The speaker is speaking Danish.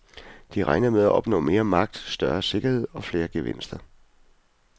De regner med at opnå mere magt, større sikkerhed og flere gevinster.